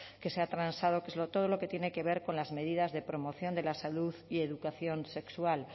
que se ha transado que es todo lo que tiene que ver con las medidas de promoción de la salud y educación sexual